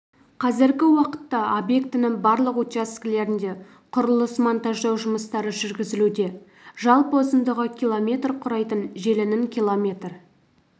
қазіргі уақытта объектінің барлық учаскелерінде құрылыс-монтаждау жұмыстары жүргізілуде жалпы ұзындығы километр құрайтын желінің километр